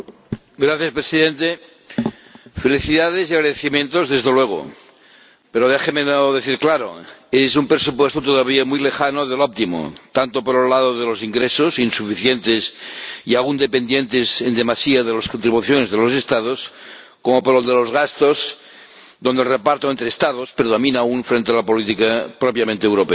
Señor Presidente, felicidades y agradecimientos, desde luego, pero déjemelo decir claro es un presupuesto todavía muy lejano del óptimo, tanto por el lado de los ingresos, insuficientes y aún dependientes en demasía de las contribuciones de los Estados, como por el de los gastos, donde el reparto entre Estados predomina aún frente a la política propiamente europea.